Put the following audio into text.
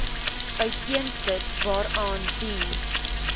uiteensit waaraan diens